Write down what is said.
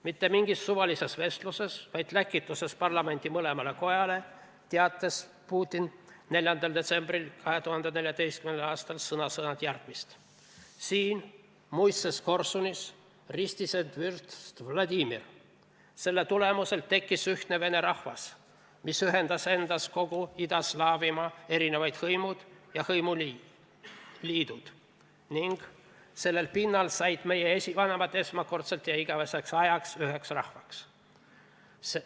Mitte mingis suvalises vestluses, vaid läkituses parlamendi mõlemale kojale teatas Putin 4. detsembril 2014. aastal sõna-sõnalt järgmist: "Siin muistses Korsunis ristis end vürst Vladimir", selle tulemusel "tekkis ühtne vene rahvas, mis ühendas endas kogu Ida-Slaavimaa erinevad hõimud ja hõimuliidud", ning "sellel pinnal said meie esivanemad esmakordselt ja igaveseks ajaks üheks rahvaks".